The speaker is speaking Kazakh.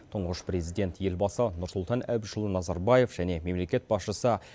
тұңғыш президент елбасы нұрсұлтан әбішұлы назарбаев және мемлекет басшысы